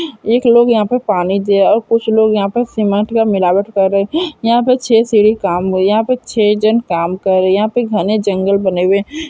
एक लोग यह पे पानी दे और कुछ लोग यहाँ पे सीमेंट मिलावट कर रहे है यहाँ पे छे सीढ़ी काम हुए यहाँ पे छे जन काम कर रहे है यह घने जंगल बने हुए है।